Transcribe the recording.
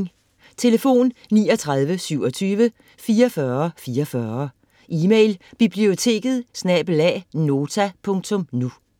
Telefon: 39 27 44 44 Email: biblioteket@nota.nu